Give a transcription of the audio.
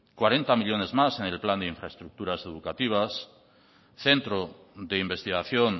cuarenta millónes más en el plan de infraestructuras educativas centro de investigación